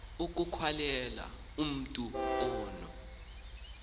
ikhawulezayo umatu ono